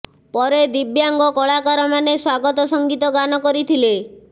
ପରେ ଦିବ୍ୟାଂଗ କଳାକାର ମାନେ ସ୍ୱାଗତ ସଂଗୀତ ଗାନ କରିଥିଲେ